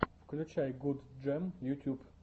включай гудджем ютьюб